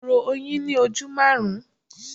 Kòkòrò oyin ní ojú maarun.